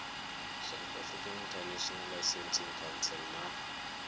sa international licensing council na